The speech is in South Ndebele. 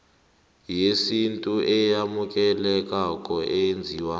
yesintu eyamukelekako eyenziwe